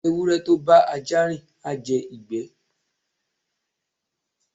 ewure to bá aja rín, a jé igbe